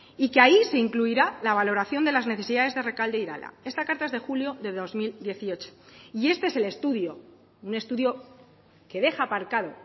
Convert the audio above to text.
y que ahí se incluirá la valoración de las necesidades de rekalde e irala esta carta es de julio de dos mil dieciocho y este es el estudio un estudio que deja aparcado